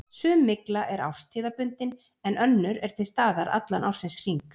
Sum mygla er árstíðabundin en önnur er til staðar allan ársins hring.